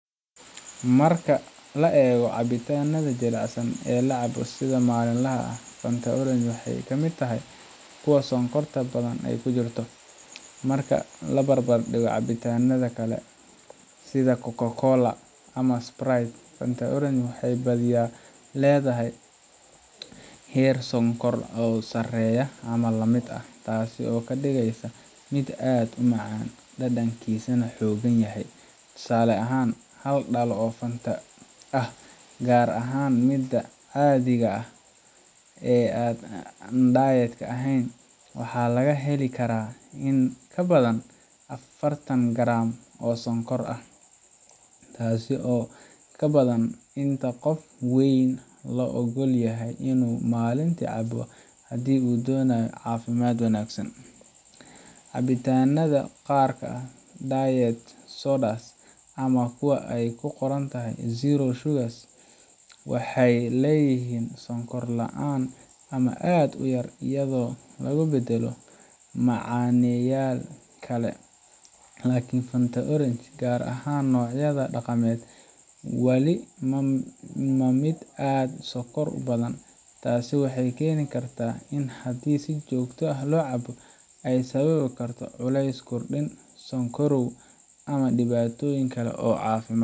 Marka la eego cabitaanada jilicsan ee la cabo sida maalinlaha ah, Fanta Orange waxay kamid tahay kuwa sonkorta badan ay ku jirto. Marka la barbardhigo cabitaannada kale sida Coca-Cola ama Sprite, Fanta Orange waxay badiyaa leedahay heer sonkor ah oo sareeya ama la mid ah, taasoo ka dhigeysa mid aad u macaan dhadhankiisana xooggan yahay. Tusaale ahaan, hal dhalo oo Fanta ah gaar ahaan midda caadiga ah ee aan diet ahayn waxaa laga heli karaa in ka badan afartan garam oo sonkor ah, taasoo ka badan inta qof weyn la oggol yahay inuu maalintii cabo haddii uu doonayo caafimaad wanaagsan. Cabitaannada qaar sida diet sodas ama kuwa ay ku qorantahay zero sugar waxay leeyihiin sonkor la’aan ama aad u yar, iyadoo lagu beddelo macaneeyayaal kale. Laakiin Fanta Orange, gaar ahaan noocyada dhaqameed, wali waa mid aad u sonkor badan. Taasi waxay keeni kartaa in haddii si joogto ah loo cabo, ay sababi karto culeys kordhin, sonkorow, ama dhibaatooyin kale oo caafimaad.